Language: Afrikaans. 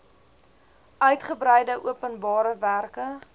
uitgebreide openbare werke